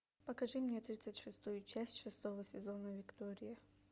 покажи мне тридцать шестую часть шестого сезона виктория